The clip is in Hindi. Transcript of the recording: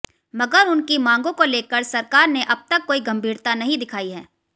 मगर उनकी मांगों को लेकर सरकार ने अब तक कोई गंभीरता नहीं दिखाई है